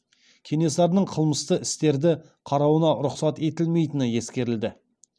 кенесарының қылмысты істерді қарауына рұқсат етілмейтіні ескертілді